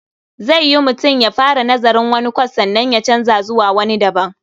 Zai yiwu mutum ya fara nazarin wani kwas sannan ya canza zuwa wani daban.